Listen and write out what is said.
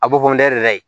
A bɔfɔ ndɛbɛ la ye